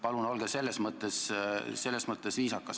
Palun olge selles mõttes viisakas!